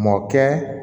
Mɔkɛ